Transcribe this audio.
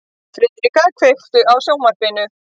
Friðrika, kveiktu á sjónvarpinu.